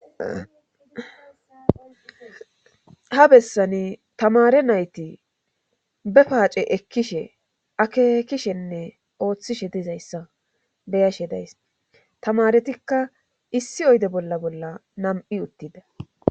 Ha bessani tamare nayti be paace ekkishe akekishenne ooththishe dizayssa beyashe days tamaretikka issi oyde bolla bolla nam7i uttida.